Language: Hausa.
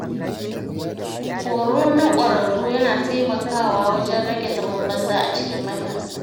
Horo na ƙwararru yana taimakawa wajen rage zaman banza a cikin matasa.